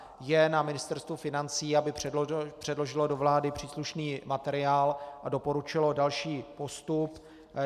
Je na Ministerstvu financí, aby předložilo do vlády příslušný materiál a doporučilo další postup.